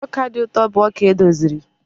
ọka dị ụtọ bụ ọka edoziri